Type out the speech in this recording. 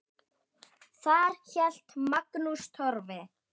Þar hélt Magnús Torfi